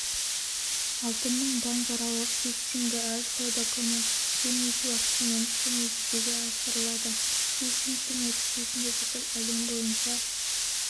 алтынның банкаралық фиксингі әр сауда күні гринвич уақытымен және жүзеге асырылады фиксингтің нәтижесі бүкіл әлем бойынша